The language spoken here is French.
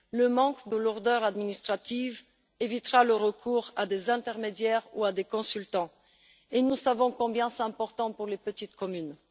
L'absence de lourdeurs administratives évitera le recours à des intermédiaires ou à des consultants, et nous savons combien c'est important pour les petites communes.